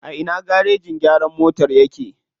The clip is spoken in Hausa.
A ina garejin gyaran motan yake?